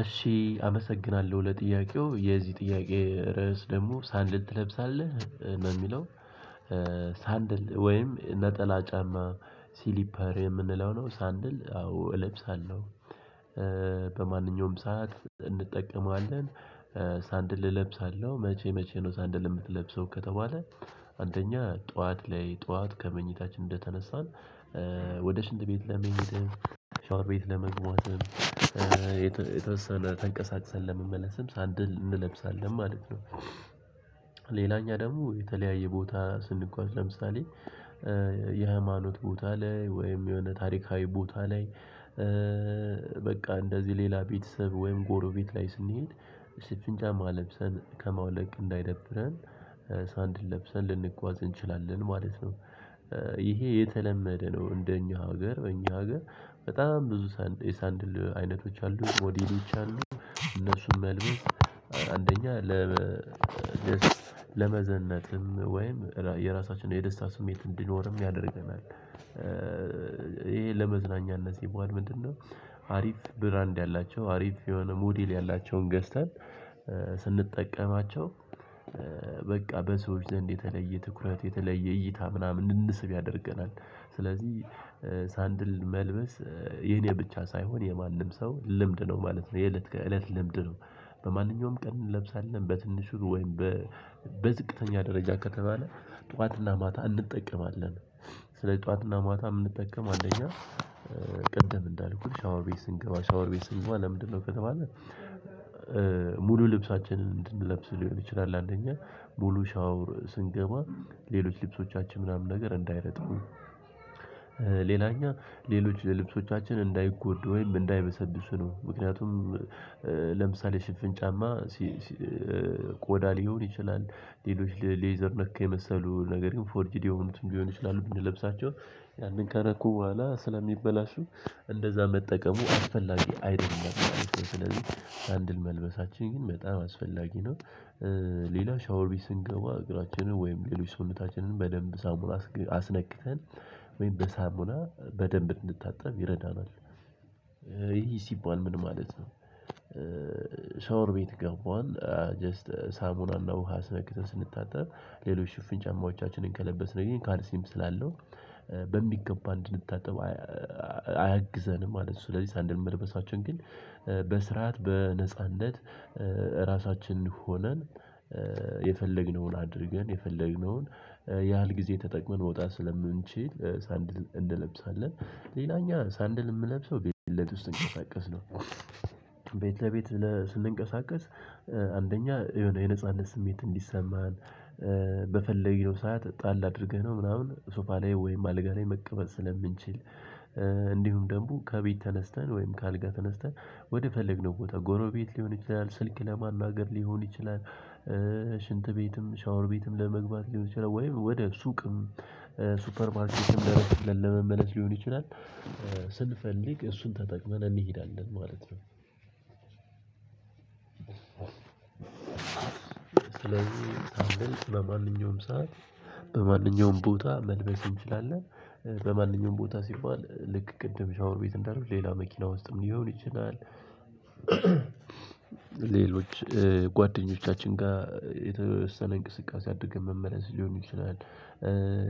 እሺ አመሰግናለሁ ለጥያቄው የዚህ ጥያቄ ርዕስ ደግሞ ሳንድል ትለብሳለህ ነው በሚለው ሳንድል ወይም ነጠላ ጫማ ሲሊፐር የምንለው ነው ሳንድል አዎ እለብሳለሁ። በማንኛውም ሰዓት እንጠቀማለን። ሳንድል እለብሳለሁ መቼ መቼ ነው ሳንድል? የምትለብሰው ከተባለ አንደኛ ጠዋት ላይ ጠዋት ከመኝታችን እንደተነሳን ወደ ሽንት ቤት ለመሄድም ሻወር ቤት ለመግባትም የተወሰነ ተንቀሳቀሰን ለመመለስም ሳንድል እንለብሳለን ማለት ነው። ሌላኛ ደግሞ የተለያየ ቦታ ስንጓዝ ለምሳሌ የሀማኖት ቦታ ላይ ወይም የሆነ ታሪካዊ ቦታ ላይ። በቃ እንደዚህ ሌላ ቤተሰብ ወይም ጎሮቤት ላይ ስንሄድ ሽፍን ጫማ ለብሰን ከማውለቅ እንዳይደብረን ሳንድል ለብሰን ልንጓዝ እንችላለን ማለት ነው። ይሄ የተለመደ ነው እንደኛ ሀገር እኛ ሀገር በጣም ብዙ ሳንድል አይነቶች አሉ ሞዴሎች አሉ። እነሱን መልበስ አንደኛ ለመዘነጥም ወይም የራሳችን የደስታ ስሜት እንዲኖርም ያደርገናል። ይሄ ለመዝናኛነት ሲዋል ምንድነው? አሪፍ ብራንድ ያላቸው አሪፍ የሆነ ሞዴል ያላቸውን ገዝተን ስንጠቀማቸው በቃ በሰዎች ዘንድ የተለየ ትኩረት የተለየ እይታ ምናምን እንድንስብ ያደርገናል። ስለዚህ ሳንድል መልበስ የኔ ብቻ ሳይሆን የማንም ሰው ልምድ ነው ማለት ነው። የእለት ከእለት ልምድ ነው። በማንኛውም ቀን እንለብሳለን በትንሹ ወይም በዝቅተኛ ደረጃ ከተባለ ጠዋትና ማታ እንጠቀማለን። ስለዚህ ጠዋትና ማታ የምንጠቀም አንደኛ ቅድም እንዳልኩት ሻወር ቤት ስንገባ ሻወር ቤት ስንገባ ለምንድነው ከተባለ? ሙሉ ልብሳችንን እንድንለብስ ሊሆን ይችላል። አንደኛ ሙሉ ሻወር ስንገባ ሌሎች ልብሶቻችን ምናምን ነገር እንዳይረጥቡ። ሌላኛ ሌሎች ልብሶቻችን እንዳይጎዱ ወይም እንዳይበሰብሱ ነው። ምክንያቱም ለምሳሌ ሽፍን ጫማ ቆዳ ሊሆን ይችላል። ሌሎች ሌዘር ነክ የመሰሉ ነገር ግን ፎርጂድ የሆኑት ቢሆኑ ይችላሉ ብንለብሳቸው እትን ከነኩ በኋላ ስለሚበላሹ። እንደዛ መጠቀሙ አስፈላጊ አይደለም። ስለዚህ ሳንድል መልበሳችን ግን በጣም አስፈላጊ ነው። ሌላ ሻወር ቤት ስንገባ እግራችንን ወይም ሌሎች ሰውነታችንን በደብ ሳሙና አስነክተን ይሄ ሲባል ምን ማለት ነው? ሻወር ቤት ገባን። ጀስት ሳሙናና ውሃ አስነክተን ስንታጠብ ሌሎች ሽፍን ጫማዎቻችንን ከለበስን ካልሲም ስላለው በሚገባ እንድንታጠብ አያግዘንም ማለት ነው። ስለዚህ ሳንድል መልበሳችን ግን በስርዓት በነጻነት እራሳችን ሆነን የፈለግነውን አድርገን የፈለግነውን ያህል ጊዜ ተጠቅመን መውጣት ስለምንችል ሳንድል እንለብሳለን። ሌላኛ ሳንድል የምንለብሰው ቤት ውስጥ ስንቀሳቀስ ነው። ቤት ለቤት ስንንቀሳቀስ አንደኛ የሆነ የነፃነት ስሜት እንዲሰማን በፈለግነው ሰዓት ጣል አድርገነው ምናምን ሶፋ ላይ ወይም አልጋ ላይ መቀመጥ ስለምንችል። እንዲሁም ደግሞ ከቤት ተነስተን ወይም ከአልጋ ተነስተን ወደ ፈለግነው ቦታ ጎረቤት ሊሆን ይችላል ስልክ ለማናገር ሊሆን ይችላል። ሽንት ቤትም ሻወር ቤትም ለመግባት ሊሆን ይችላል ወይም ወደ ሱቅም ሱፐር ማርኬትም ለረፍት ለመመለስ ሊሆን ይችላል። ስንፈልግ እሱን ተጠቅመን እንሄዳለን ማለት ነው። ስለዚህ ሳንድል በማንኛውም ሰዓት በማንኛውም ቦታ መልበስ እንችላለን። በማንኛውም ቦታ ሲባል ልክ ቅድም ሻወር ቤት እንዳልን ሌላ መኪና ውስጥም ሊሆን ይችላል። ሌሎች ጓደኞቻችን ጋር የተወሰነ እንቅስቃሴ አድርገን መመለስ ሊሆን ይችላል።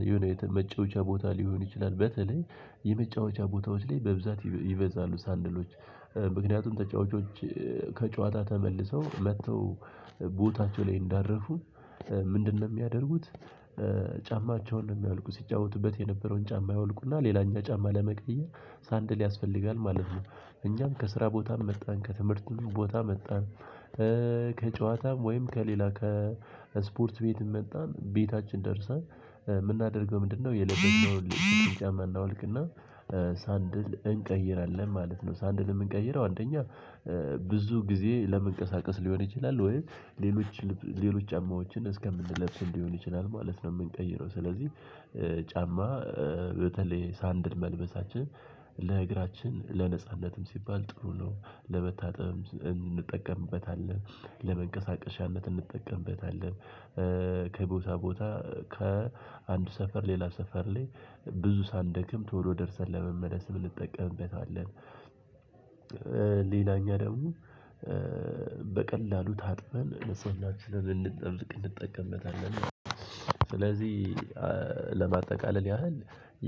የሆነ የመጫወቻ ቦታ ሊሆን ይችላል በተለይ የመጫወቻ ቦታዎች ላይ በብዛት ይበዛሉ ሳንድሎች። ምክንያቱም ተጫዋቾች ከጨዋታ ተመልሰው መጥተው ቦታቸው ላይ እንዳረፉ ምንድነው የሚያደርጉት? ጫማቸውን ነው የሚያወልቁ ሲጫወቱበት የነበረውን ጫማ ያወልቁና ሌላኛው ጫማ ለመቀየር ሳንድል ያስፈልጋል ማለት ነው። እኛም ከስራ ቦታም መጣን ከትምህርትም ቦታ መጣን። ከጨዋታም ወይም ከሌላ ከስፖርት ቤትም መጣን ቤታችን ደርሰን የምናደርገው ምንድነው? የለበስነውን ጫማ እናወልቅና ሳንድል እንቀይራለን ማለት ነው። ሳንድል የምንቀይረው አንደኛ ብዙ ጊዜ ለመንቀሳቀስ ሊሆን ይችላል ወይ ሌሎች ሌሎች ጫማዎችን እስከምንለብስ ሊሆን ይችላል ማለት ነው። የምንቀይረው ስለዚህ ጫማ በተለይ ሳንድል መልበሳችን ለእግራችን ለነጻነትም ሲባል ጥሩ ነው። ለመታጠብ እንጠቀምበታለን ለመንቀሳቀሻነት እንጠቀምበታለን። ከቦታ ቦታ ከአንድ ሰፈር ሌላ ሰፈር ላይ ብዙ ሳንደክም ቶሎ ደርሰን ለመመለስ እንጠቀምበታለን። እኛ ደግሞ በቀላሉ ታጥበን ለሰውናችን ልንጠብቅ እንጠቀምበታለን። ስለዚህ ለማጠቃለል ያህል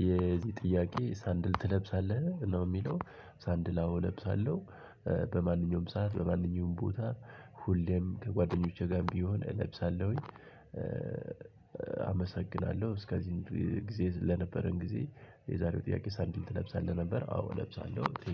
የዚህ ጥያቄ ሳንድል ትለብሳለህ ነው የሚለው ሳንድል አወ እለብሳለሁ በማንኛውም ሰዓት በማንኛውም ቦታ ሁሌም ከጓደኞቼ ጋርም ቢሆን እለብሳለሁኝ። አመሰግናለሁ እስከዚህ ጊዜ ለነበረን ጊዜ። የዛሬው ጥያቄ ሳንዲል ትለብሳለህ ነበር አዎ እለብሳለሁ